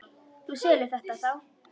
Þú selur þetta þá?